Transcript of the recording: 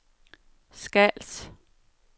Skals